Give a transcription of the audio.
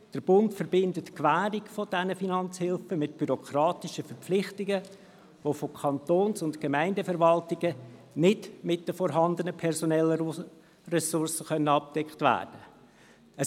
Der Bund verbindet die Gewährung dieser Finanzhilfen mit bürokratischen Verpflichtungen, die von Kantons- und Gemeindeverwaltungen nicht mit den vorhandenen personellen Ressourcen abgedeckt werden können.